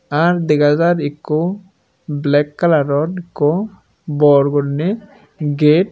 r dega jar ekku black color or ekku gate.